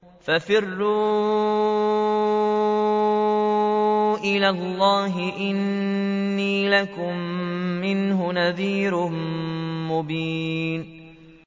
فَفِرُّوا إِلَى اللَّهِ ۖ إِنِّي لَكُم مِّنْهُ نَذِيرٌ مُّبِينٌ